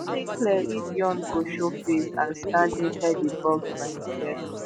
no dey clear if yoon go showface and stand inside di box by imsef